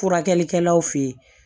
Furakɛlikɛlaw fe ye